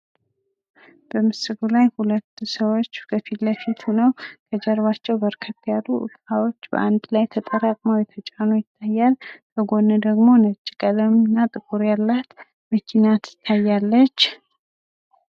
በምስሉ ላይ 2 ሰዎች ከፊትለፊት ሆነው ከጀርባቸው በርከት ያሉ እቃዎች ተጠራቅመው የተጫኑ ይታያል። በጎን ደሞ ነጭ ቀለም እና ጥቁር ያላት መኪና ትታያለች።